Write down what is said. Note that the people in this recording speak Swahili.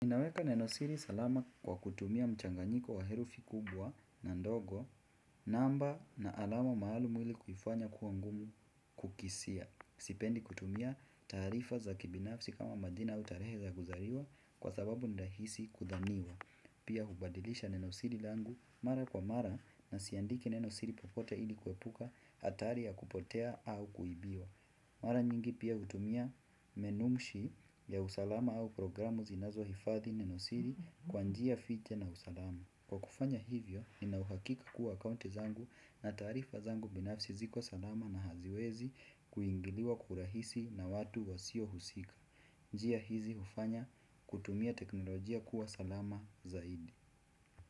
Ninaweka nenosiri salama kwa kutumia mchanganyiko wa herufi kubwa na ndogo namba na alama maalum ili kufanya kuwa ngumu kukisia. Sipendi kutumia taarifa za kibinafsi kama majina au tarehe za kuzaliwa kwa sababu ni rahisi kudhaniwa. Pia hubadilisha nenosiri langu mara kwa mara na siandiki nenosiri popote ili kuepuka hatari ya kupotea au kuibiwa. Mara nyingi pia hutumia menumshi ya usalama au programu zinazohifadhi nenosiri kwa njia fiche na usalama. Kwa kufanya hivyo, ninauhakika kuwa akaunti zangu na taarifa zangu binafsi ziko salama na haziwezi kuingiliwa kwa urahisi na watu wasio husika. Njia hizi hufanya kutumia teknolojia kuwa salama zaidi.